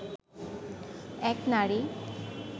এক নারী